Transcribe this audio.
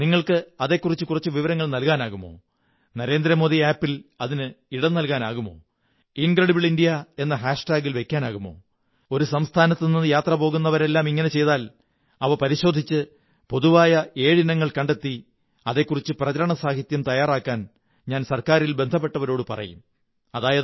നിങ്ങള്ക്ക് അതെക്കുറിച്ച് കുറച്ച് വിവരങ്ങൾ നല്കാനാകുമോ നരേന്ദ്രമോദി ആപ് ൽ അതിന് ഇടം നല്കാനാകുമോ incredibleindiaഎന്ന ഹാഷ് ടാഗിൽ വയ്ക്കാമോ ഒരു സംസ്ഥാനത്തുനിന്നു യാത്രപോകുന്നവരെല്ലാം ഇങ്ങനെ ചെയ്താൽ അവ പരിശോധിച്ച് പൊതുവായ ഏഴ് ഇനങ്ങൾ കണ്ടെത്തി അതെക്കുറിച്ച് പ്രചരണസാഹിത്യം തയ്യാറാക്കാൻ ഞാൻ ഗവണ്മെുന്റിലെ ബന്ധപ്പെട്ടവരോടു പറയും